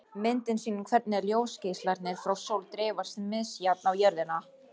Myndin sýnir hvernig ljósgeislarnir frá sól dreifast misjafnt á jörðina.